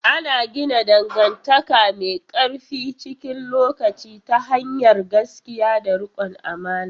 Ana gina dangantaka mai ƙarfi cikin lokaci ta hanyar gaskiya da riƙon amana.